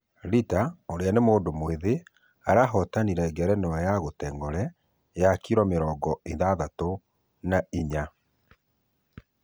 Rita ũria ni mũndũ mwĩthĩ arahoatanire ngerenwa ya....kategore ya kiro mirongo ithathatu na inya